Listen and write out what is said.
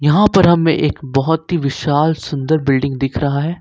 हां पर हमें एक बहुत ही विशाल सुंदर बिल्डिंग दिख रहा है।